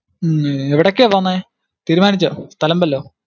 ഹും എവിടൊക്കെയാ പോന്നെ? തീരുമാനിച്ചോ സ്ഥലം വല്ലോം?